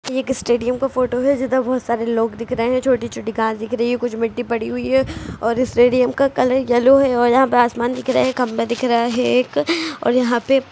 एक स्टेडियम का फोटो है। जिधर बहोत सारे लोग दिख रहे हैं। छोटी-छोटी घास दिख रही है। कुछ मिट्टी पड़ी हुई है और स्टेडियम का कलर येलो है और यहाँ पर आसमान दिख रहा है। खंभा दिख रहा है एक और यहाँ पे --